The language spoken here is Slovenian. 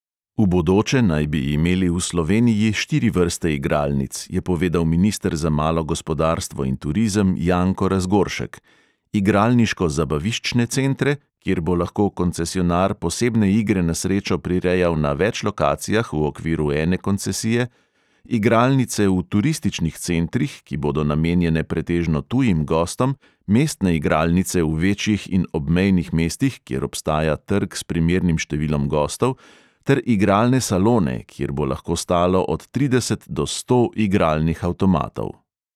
V bodoče naj bi imeli v sloveniji štiri vrste igralnic, je povedal minister za malo gospodarstvo in turizem janko razgoršek: igralniško zabaviščne centre, kjer bo lahko koncesionar posebne igre na srečo prirejal na več lokacijah v okviru ene koncesije; igralnice v turističnih centrih, ki bodo namenjene pretežno tujim gostom; mestne igralnice v večjih in obmejnih mestih, kjer obstaja trg s primernim številom gostov; ter igralne salone, kjer bo lahko stalo od trideset do sto igralnih avtomatov.